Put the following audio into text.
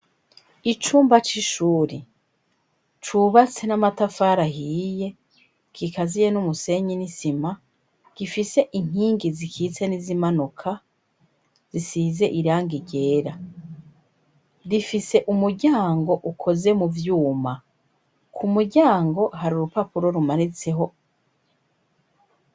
Icumba c'ishuri cubatse n'amatafara ahiye gikaziye n'umusenyi n'isima gifise inkingi zikitse n'izimanoka zisize iranga ryera rifise umuryango ukoze mu vyuma ku muryango hari urupapae oumanizeho.